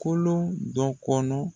Kolon dɔ kɔnɔ.